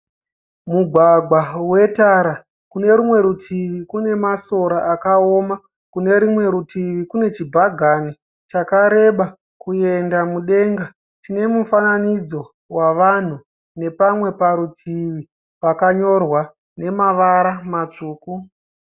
Mugwagwa wetara, kune rimwe rutivi kune masora akaoma kune rimwe rutivi kune chibhagani chakareba kuenda mudenga chine mufananidzo wavanhu nepamwe parutivi pakanyorwa nemavara matsvuku.